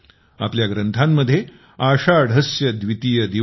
आपल्या ग्रंथांमध्ये आषाढस्य द्वितीय दिवसे